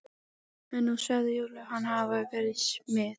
En nú segir Júlía hann hafa verið smið.